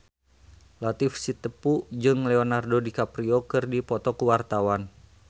Latief Sitepu jeung Leonardo DiCaprio keur dipoto ku wartawan